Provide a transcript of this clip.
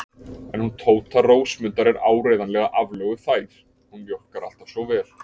En hún Tóta Rósmundar er áreiðanlega aflögufær, hún mjólkar alltaf svo vel.